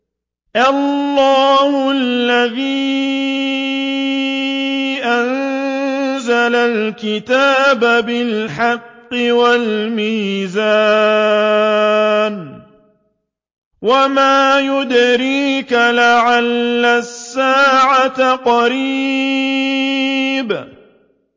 اللَّهُ الَّذِي أَنزَلَ الْكِتَابَ بِالْحَقِّ وَالْمِيزَانَ ۗ وَمَا يُدْرِيكَ لَعَلَّ السَّاعَةَ قَرِيبٌ